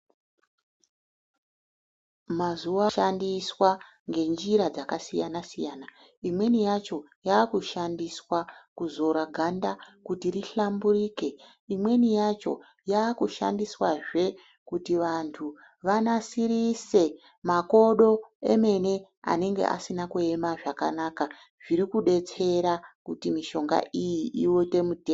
Mazuwa shandiswa ngenjira dzakasiyana-siyana. imweni yacho yakushandiswa kuzora ganda kuti rihlamburike. imweni yacho yaakushandiswazve kuti vantu vanasirise makodo emene anenge asina kuema zvakanaka zviri kudetsera kuti mishonga iyi iunde mudhe..